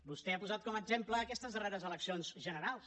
vostè ha posat com a exemple aquestes darreres eleccions generals